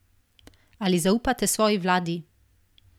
Ali zaupate svoji vladi?